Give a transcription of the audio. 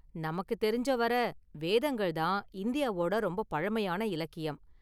நமக்கு தெரிஞ்ச வர, வேதங்கள் தான் இந்தியாவோட ரொம்ப பழமையான இலக்கியம்.